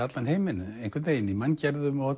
allan heiminn í manngerðum og